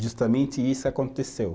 Justamente isso aconteceu.